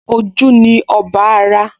Ojú ni ọba ara